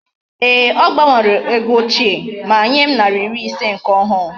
Eeh! O gbanwere ego ochie, ma nyem nari iri ise nke ohu